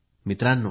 मित्रांनो